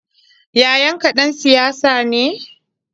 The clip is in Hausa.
Yayanka ɗan siyasa ne?